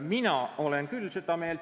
Mina olen küll seda meelt.